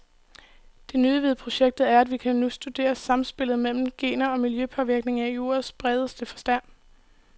Det nye ved projektet er, at vi nu kan studere samspillet mellem gener og miljøpåvirkninger i ordets bredeste forstand.